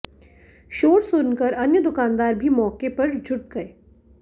शोर सुनकर अन्य दुकानदार भी मौके पर जुट गये